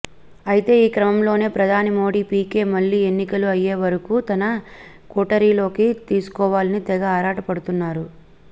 అయితే ఈ క్రమంలోనే ప్రధాని మోడీ పీకే మళ్ళీ ఎన్నికలు అయ్యేవరకూ తన కోటరీలోకి తీసుకోవాలని తెగ ఆరాటపడుతున్నారు